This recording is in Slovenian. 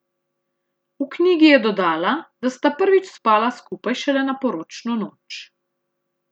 V knjigi je dodala, da sta prvič spala skupaj šele na poročno noč.